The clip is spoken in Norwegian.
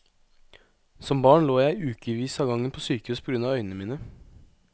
Som barn lå jeg i ukevis av gangen på sykehus på grunn av øynene mine.